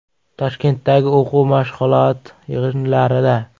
Toshkentdagi o‘quv-mashg‘ulot yig‘inlarida.